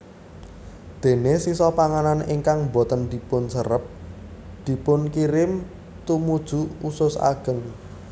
Déné sisa panganan ingkang boten dipunserep dipunkirim tumuju usus ageng